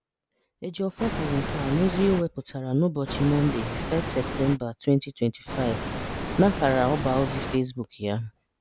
Ejiofor kwuru nke a n'ozi o wepụtara n'ụbọchị Mọnde 1 Septemba, 2025 n'akara ọbaozi Facebook ya.